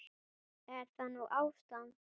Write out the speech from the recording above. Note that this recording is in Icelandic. Er það nú ástand!